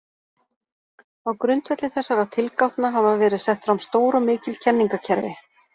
Á grundvelli þessara tilgátna hafa verið sett fram stór og mikil kenningakerfi.